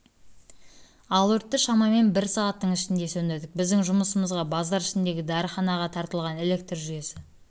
ал өртті шамамен бір сағаттың ішінде сөндірдік біздің жұмысымызға базар ішіндегі дәріханаға тартылған электр жүйесі